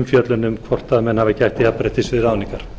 umfjöllun um hvort menn hafi gætt jafnréttis við ráðningar